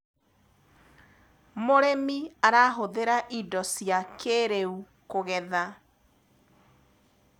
mũrĩmi arahuthira indo cia kĩiriu kugetha